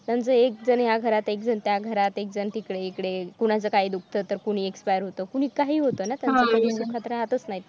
त्यानंतर एक जण ह्या घरात एक जण त्या घरात एकजण तिकडे इकडे कुनाच काय दुखत तर कुणी expire होत कोणी काहीही होत ना